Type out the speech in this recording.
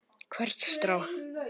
Hvert strá.